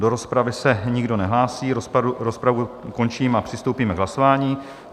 Do rozpravy se nikdo nehlásí, rozpravu končím a přistoupíme k hlasování.